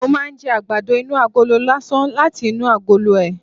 Mo máa ń jẹ àgbàdo inú agolo lásán láti inú agolo ẹ̀